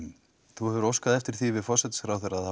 þú hefur óskað eftir því við forsætisráðherra að